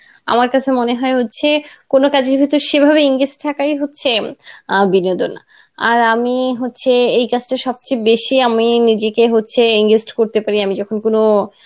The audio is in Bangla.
আমার কাছে মনেহয় হচ্ছে কোনো কাজের মধ্যে সেভাবে engage থাকাই হচ্ছে আহ বিনোদন আর আমি হচ্ছে এই কাজটা সবচেয়ে বেশি আমি নিজেকে হচ্ছে engage করতে পারি আমি যখন কোনো